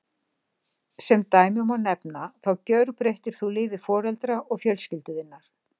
Sem dæmi má nefna þá gjörbreyttir þú lífi foreldra og fjölskyldu þinnar.